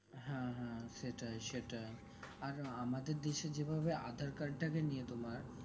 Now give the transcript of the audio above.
হ্যাঁ হ্যাঁ সেটাই সেটাই আর আমাদের দেশের যেভাবে aadhaar card তাকে নিয়ে তোমার